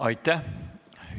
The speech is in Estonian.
Aitäh!